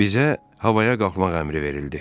Bizə havaya qalxmaq əmri verildi.